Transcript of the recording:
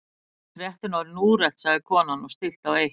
Kannski er fréttin orðin úrelt sagði konan og stillti á eitt.